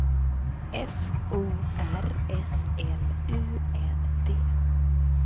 F O R S L U N D